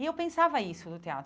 E eu pensava isso no